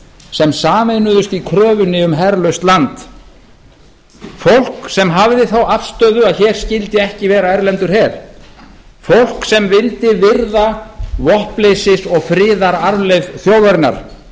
sem sameinuðust í kröfunni um herlaust land fólk sem hafði þá afstöðu að hér skyldi ekki vera erlendur her fólk sem vildi virða vopnleysis og friðararfleifð þjóðarinnar